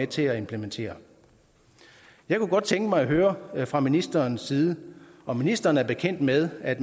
til at implementere jeg kunne godt tænke mig at høre fra ministerens side om ministeren er bekendt med at